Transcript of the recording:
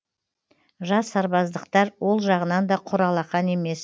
жас сарбаздықтар ол жағынан да құр алақан емес